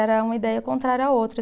Era uma ideia contrária à outra.